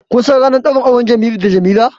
Kun san ranar ɗaurin auren Jamilu da Jamila?